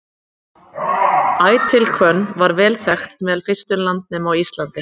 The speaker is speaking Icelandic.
ætihvönnin var vel þekkt meðal fyrstu landnema á íslandi